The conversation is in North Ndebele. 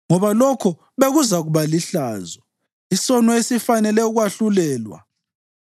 Ngoba lokho bekuzakuba lihlazo, isono esifanele ukwahlulelwa.